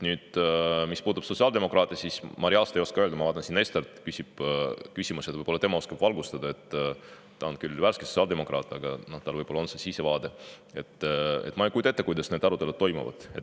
Mis puudutab sotsiaaldemokraate, siis ma reaalselt ei oska seda öelda – ma vaatan, Ester varsti küsib, võib-olla tema oskab valgustada, ta on küll alles värske sotsiaaldemokraat, aga tal võib-olla on olemas see sisevaade –, ma ei kujuta ette, kuidas need arutelud seal toimuvad.